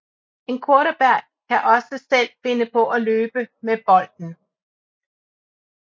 En quarterback kan også selv finde på at løbe med bolden